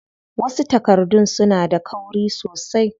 Wasu takardun suna da kauri sosai.